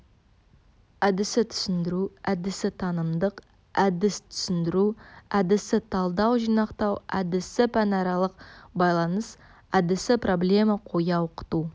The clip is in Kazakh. әдісі түсіндіру әдісі танымдық әдіс түсіндіру әдісі талдау-жинақтау әдісі пәнаралық байланыс әдісі проблема қоя оқыту